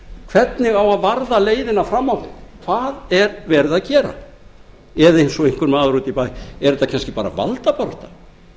hvernig á að varða leiðina fram á við hvað er verið að gera eða eins og einhver maður úti í bæ er þetta bara valdabarátta